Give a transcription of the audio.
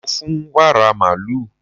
Mo fún wàrà màlúù.